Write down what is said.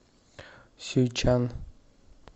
сюйчан